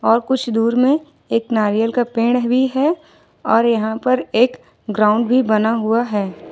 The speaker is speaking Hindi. और कुछ दूर में एक नारियल का पेड़ भी है और यहां पर एक ग्राउंड भी बना हुआ है।